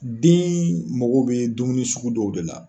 Den mago bi dumuni sugu dɔw de la